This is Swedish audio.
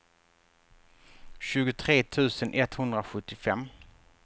tjugotre tusen etthundrasjuttiofem